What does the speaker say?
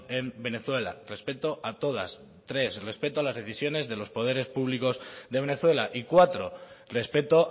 en venezuela respeto a todas tres respeto a las decisiones de los poderes públicos de venezuela y cuatro respeto